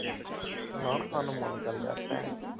ਨਾਨ ਖਾਣ ਨੂੰ ਮਨ ਕਰ ਯਾਰ